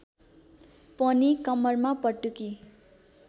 पनि कम्मरमा पटुकी